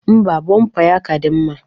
Ḿbà, bọmpa ya ka dị mma.